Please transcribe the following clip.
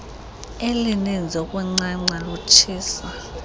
elininzi ukuncanca lutshisa